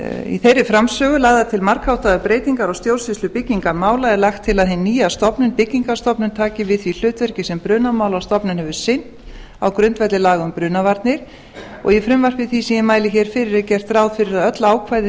í þeirri framsögu lagðar til margháttaðar breytingar á stjórnsýslu byggingarmála er lagt til að hin nýja stofnun byggingarstofnun taki við því hlutverki sem brunamálastofnun hefur sinnt á grundvelli laga um brunavarnir og í frumvarpi því sem ég mæli hér fyrir er gert ráð fyrir að öll ákvæði